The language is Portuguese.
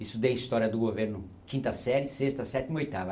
Estudei História do Governo quinta série, sexta, sétima, oitava.